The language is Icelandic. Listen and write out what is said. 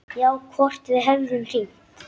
Já, hvort við hefðum hringt.